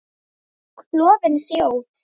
Klofin þjóð.